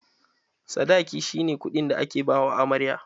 Sadaki shi ne kuɗin da ake ba wa amarya.